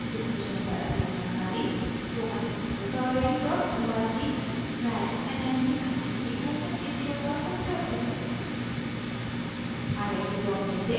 इस मिशन पर अधिक जानकारी